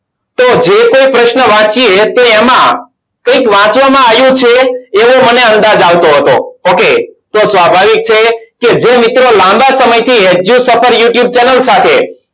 તો જે કોઈ પ્રશ્નો વાંચીએ તો એમાં એક વાંચવામાં આવ્યું છે એવો મને અંદાજ આવતો હતો ok તો સ્વાભાવિક છે કે જે મિત્રો લાંબા સમયથી edue suffer youtube channel સાથે